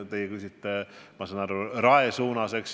Teie küsite, ma saan aru, Rae suuna kohta.